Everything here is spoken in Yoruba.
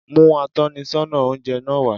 Mú atónisọ́nà oúnje náa wá